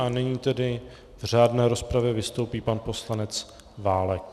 A nyní tedy v řádné rozpravě vystoupí pan poslanec Válek.